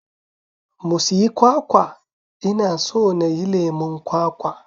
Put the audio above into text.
Mu siyi kwakwa, ina so nayi lemon kwakwa